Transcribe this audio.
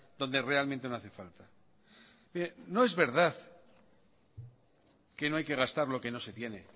donde realmente no hace falta mire no es verdad que no hay que gastar lo que no se tiene